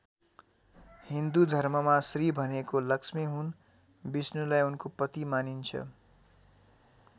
हिन्दु धर्ममा श्री भनेको लक्ष्मी हुन् विष्णुलाई उनको पति मानिन्छ।